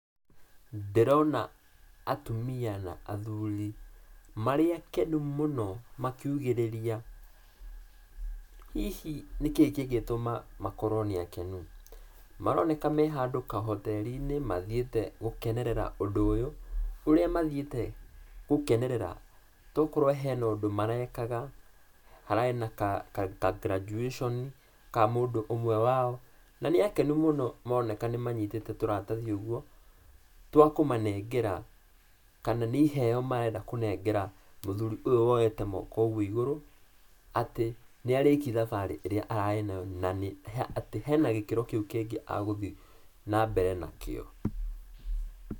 Ndĩrona atumia na athuri, marĩ akenu mũno na makiugĩrĩria. Hihi nĩkĩ kĩngĩtũma makorwo nĩ akenu? Maroneka me handũ kahoteri-inĩ mathiĩte gũkenerera ũndũ ũyũ, ũrĩa mathiĩte gũkenerera, tokorwo he na ũndũ marekaga, hararĩ na ka ka graduation ka mũndũ ũmwe wao, na nĩ akenu mũno maroneka nĩ manyitĩte tũratathi ũguo, twa kũmanengera, kana nĩ iheo marenda kũnengera mũthuri ũyũ woyete moko ũguo igũrũ, atĩ nĩ ariki thabarĩ ĩrĩa ararĩ nayo na atĩ hena gĩkĩro kĩu kĩngĩ agũthi na mbere nakĩo.